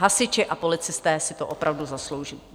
Hasiči a policisté si to opravdu zaslouží.